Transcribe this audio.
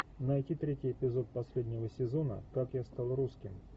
найти третий эпизод последнего сезона как я стал русским